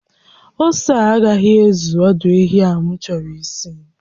Ose a agaghị ezu ọdụ ehi a m chọrọ isi